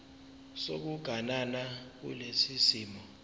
sokuganana kulesi simo